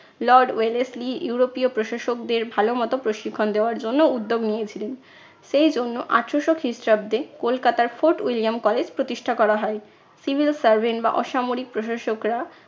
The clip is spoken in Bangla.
lord ওয়েলেসলি ইউরোপীয় প্রশাসকদের ভালো মতো প্রশিক্ষণ দেওয়ার জন্য উদ্দ্যোগ নিয়েছিলেন। সেই জন্য আঠারশো খ্রিস্টাব্দে কলকাতার ফোর্ট উইলিয়াম college প্রতিষ্ঠা করা হয়। civil servant বা অসামরিক প্রশাসকরা